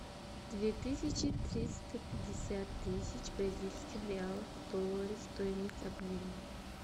две тысячи триста пятьдесят тысяч бразильских реалов в доллары стоимость обмена